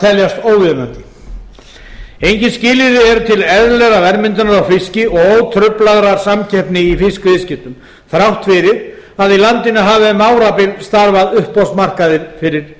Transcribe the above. teljast óviðunandi engin skilyrði eru til eðlilegrar verðmyndunar á fiski og ótruflaðrar samkeppni í fiskviðskiptum þrátt fyrir að í landinu hafi um árabil starfað uppboðsmarkaðir fyrir